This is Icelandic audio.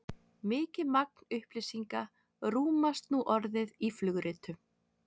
mikið magn upplýsinga rúmast nú orðið í flugritum